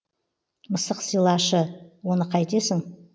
мысық сыйлашы оны қайтесің